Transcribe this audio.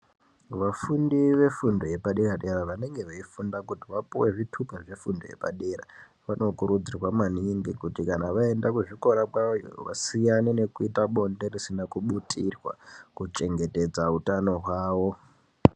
Vafundi vefundo yepadera dera vanenge veifunda kuti vapuwe zvitupa zvefundo yepadera , vanokurudzirwa maningi kuti kana vaenda kuzvikora kwawoyo vasiyane nekuita bonde risina kubutirwa kuchengetedza utano hwawo .